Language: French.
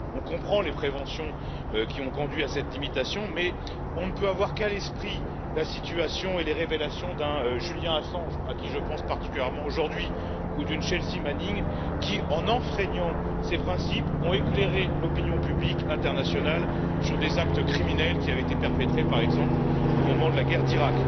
On comprend les préventions qui ont conduit à cette limitation, mais on ne peut avoir qu'à l'esprit la situation et les révélations d'un Julian Assange, à qui je pense particulièrement aujourd'hui, ou d'une Chelsea Manning, qui en enfreignant ces principes ont éclairé l'opinion publique internationale sur des actes criminels, qui avaient été perpétrés par exemple au moment de la guerre d'Irak.